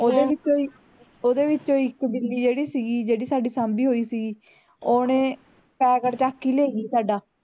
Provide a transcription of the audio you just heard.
ਓਹਦੇ ਵਿੱਚੋ ਵੀ ਓਹਦੇ ਵਿੱਚੋ ਇੱਕ ਬਿੱਲੀ ਜਿਹੜੀ ਸੀਗੀ ਜਿਹੜੀ ਸਾਡੀ ਸਾਂਭੀ ਹੋਈ ਸੀ ਓਹਨੇ packet ਚੱਕ ਹੀ ਲੈ ਗਈ ਸਾਡਾ